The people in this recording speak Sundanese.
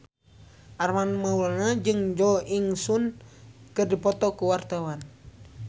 Armand Maulana jeung Jo In Sung keur dipoto ku wartawan